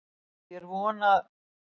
Því er von, að